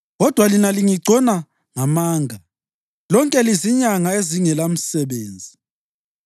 Kodwa lina lingigcona ngamanga; lonke lizinyanga ezingelamsebenzi!